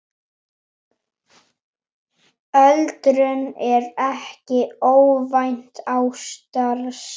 Öldrun er ekki óvænt ástand.